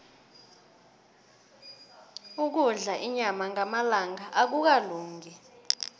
ukudla inyama ngamalanga akukalungi